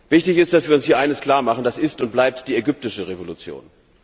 Wichtig ist, dass wir uns eines klar machen Das ist und bleibt die ägyptische Revolution.